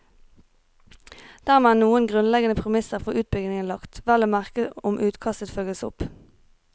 Dermed er noen grunnleggende premisser for utbyggingen lagt, vel å merke om utkastet følges opp.